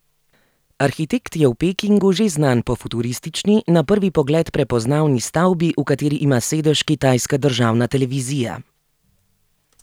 Arhitekt je v Pekingu že znan po futuristični, na prvi pogled prepoznavni stavbi, v kateri ima sedež kitajska državna televizija.